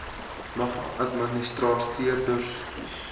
mag administrateurders kies